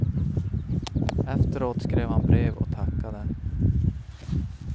Efteråt skrev han brev och tackade.